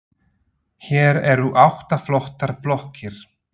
Hér eru átta flottar blokkir.